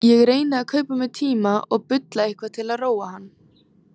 Ég reyni að kaupa mér tíma og bulla eitthvað til að róa hann.